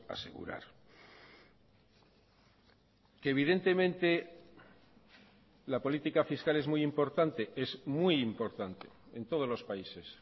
asegurar que evidentemente la política fiscal es muy importante es muy importante en todos los países